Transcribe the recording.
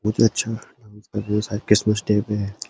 बहुत अच्छा Christmas day पे है।